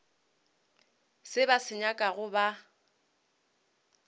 se ba se nyakago ba